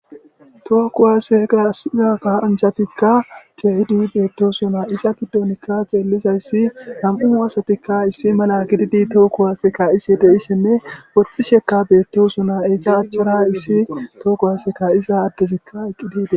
Tooko waase gasiza kaa anjatikka keehidi beettosuna isa giddonikka xeellizayssi nam7u uwasatikka issi mala gididi tooko waaseka isi deissinne wothtxhi sheka beettosuna eesa achchara issi tooko waseka iza addezikka eqqidide